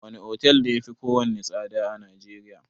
Wane otel ne yafi kowanne tsada a Najeriya?